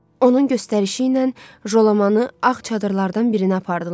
Onun göstərişi ilə Jalamanı ağ çadırlardan birinə apardılar.